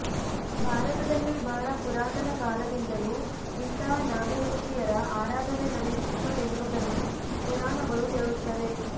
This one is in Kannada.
ಭಾರತದಲ್ಲಿ ಬಹಳ ಪುರಾತನ ಕಾಲದಿಂದಲೂ ಇಂತಹ ನಾಗಯಕ್ಷಿಯರ ಆರಾಧನೆ ನಡೆಯುತ್ತಿತ್ತು ಎನ್ನುವುದನ್ನು ಪುರಾಣಗಳು ಹೇಳುತ್ತವೆ